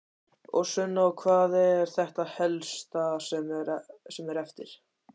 Sunna: Og hvað er þetta helsta sem er eftir?